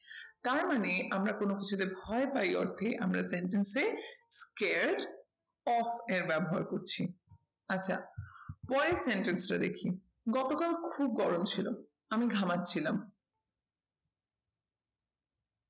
তার মানে আমরা কোনো কিছুতে ভয় পাই অর্থে আমরা sentence এ creed of এর ব্যবহার করছি। আচ্ছা পরের sentence টা দেখি গতকাল খুব গরম ছিল আমি ঘামাচ্ছিলাম।